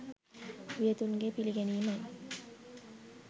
වියතුන්ගේ පිළිගැනීමයි.